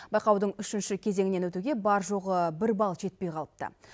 байқаудың үшінші кезеңінен өтуге бар жоғы бір балл жетпей қалыпты